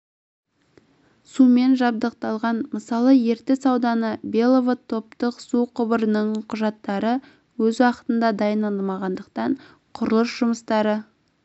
сумен жабдықталған мысалы ертіс ауданы беловод топтық су құбырының құжаттары өз уақытында дайындалмағандықтан құрылыс жұмыстары